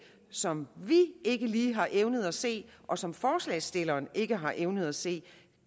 som vi ikke lige har evnet at se og som forslagsstillerne ikke har evnet at se